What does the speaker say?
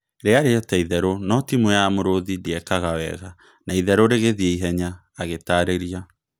" Rĩarĩ o-ta itherũ no timu ya Mũrũthi ndĩekaga wega, na itherũ rĩgĩthiĩ ihenya," agĩtarĩria.